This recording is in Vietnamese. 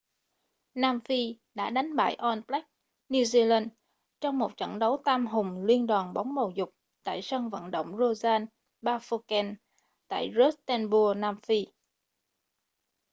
nam phi đã đánh bại all blacks new zealand trong một trận đấu tam hùng liên đoàn bóng bầu dục tại sân vận động royal bafokeng tại rustenburg nam phi